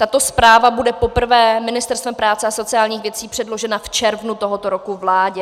Tato zpráva bude poprvé Ministerstvem práce a sociálních věcí předložena v červnu tohoto roku vládě.